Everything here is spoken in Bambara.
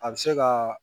A bɛ se ka